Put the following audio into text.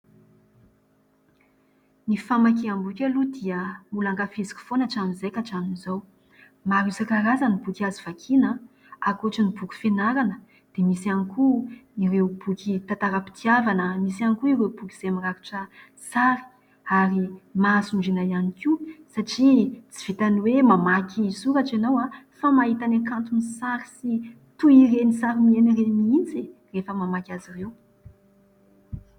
Ny famakiam-boky aloha dia ; mbola ankafiziko foana hatramin'izay ka hatramin'izao. Maro isankarazany ny boky azo vakiana a : ankoatry ny boky fianarana, dia misy ihany koa ireo boky tantaram-pitiavana a, misy ihany koa ireo boky izay mirakitra sary, ary mahasondriana ihany koa ! satria tsy vitany hoe mamaky ny soratra ianao a, fa mahita ny hakanton'ny sary sy toy ireny sary miaina ireny mihintsy e ! rehefa mamaky azy ireo.